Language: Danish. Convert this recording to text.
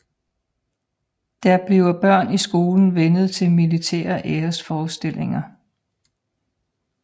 Der bliver børn i skolen vænnet til militære æresforestillinger